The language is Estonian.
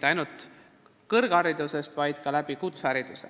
edasi elukestvas õppes.